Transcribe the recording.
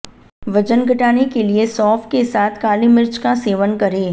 वजन घटाने के लिए सौंफ के साथ काली मिर्च का सेवन करें